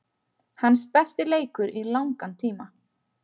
Hans besti leikur í langan tíma.